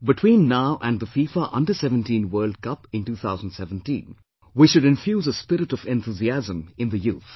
Between now and the FIFA Under17 World Cup in 2017, we should infuse a spirit of enthusiasm in the youth